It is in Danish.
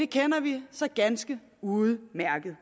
kender vi så ganske udmærket